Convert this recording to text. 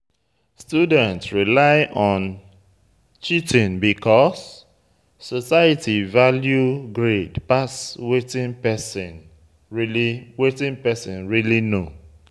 Student rely on cheating because society value grade pass wetin person really wetin person really know